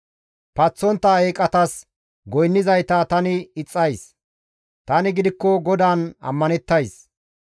Paththontta eeqatas goynnizayta tani ixxays; tani gidikko GODAAN ammanettays.